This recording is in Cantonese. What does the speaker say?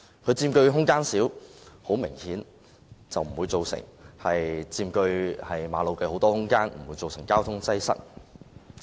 單車佔用的空間小，很明顯，它不會佔據馬路大量空間，不會造成交通擠塞。